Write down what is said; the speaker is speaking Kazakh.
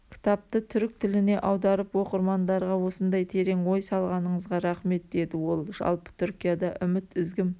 кітапты түрік тіліне аударып оқырмандарға осындай терең ой салғаныңызға рахмет деді ол жалпы түркияда үміт үзгім